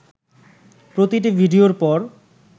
প্রতিটি ভিডিওর পর